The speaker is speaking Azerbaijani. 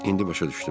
İndi başa düşdüm.